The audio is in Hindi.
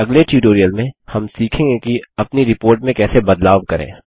अगले ट्यूटोरियल में हम सीखेंगे कि अपनी रिपोर्ट में कैसे बदलाव करें